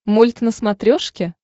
мульт на смотрешке